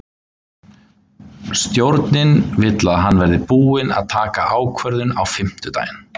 Stjórnin vill að hann verði búinn að taka ákvörðun á fimmtudaginn.